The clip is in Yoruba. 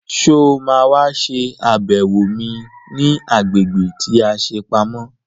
Sọ má wá ṣe àbẹ̀wò mi ní agbègbè tí a ṣe pamọ́?